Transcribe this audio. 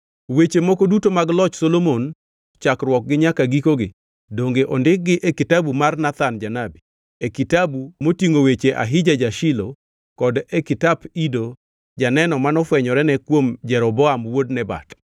Weche moko duto mag loch Solomon, chakruokgi nyaka gikogi, donge ondikgi e kitabu mar Nathan janabi, e kitabu motingʼo weche Ahija ja-Shilo kod e kitap Ido janeno manofwenyorene kuom Jeroboam wuod Nebat?